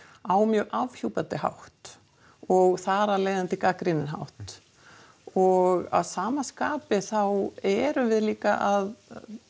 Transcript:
á mjög afhjúpandi hátt og þar af leiðandi gagnrýninn hátt og að sama skapi þá erum við líka að